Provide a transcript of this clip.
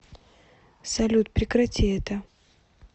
салют прекрати это